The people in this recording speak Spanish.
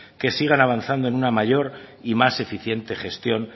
que sigan avanzando en una mayor y más eficiente gestión